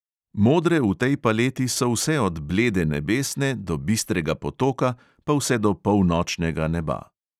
Modre v tej paleti so vse od blede nebesne do bistrega potoka pa vse do polnočnega neba.